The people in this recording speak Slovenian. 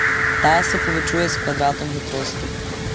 Ta se povečuje s kvadratom hitrosti.